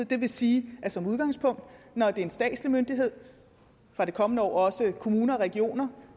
det vil sige at som udgangspunkt når det er en statslig myndighed for det kommende år også kommuner og regioner